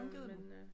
Fungerede den